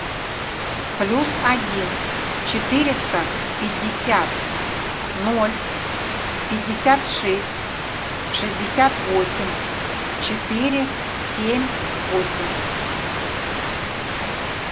плюс один четыреста пятьдесят ноль пятьдесят шесть шестьдесят восемь четыре семь восемь